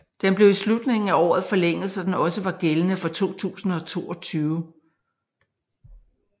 Den blev i slutningen af året forlænget så den også var gældende for 2022